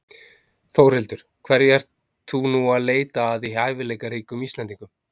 Þórhildur: Hverju ert þú nú að leita að í hæfileikaríkum Íslendingum?